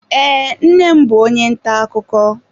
Ee, nne m bụ onye ntà akụkọ